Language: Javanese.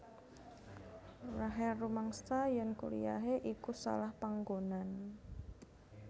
Rachel rumangsa yèn kuliyahé iku salah panggonan